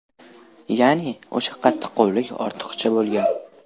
Ya’ni o‘sha qattiqqo‘llik ortiqcha bo‘lgan.